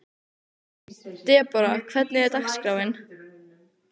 Debora, hvernig er dagskráin?